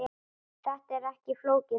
Þetta er ekki flókið mál.